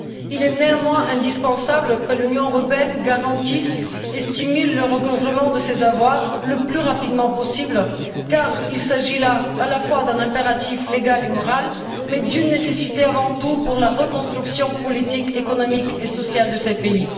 Il est néanmoins indispensable que l'Union européenne garantisse et encourage le recouvrement de ces avoirs le plus rapidement possible car il s'agit là, à la fois, d'un impératif légal et moral, mais aussi, avant tout, d'une nécessité pour la reconstruction politique, économique et sociale de ces pays.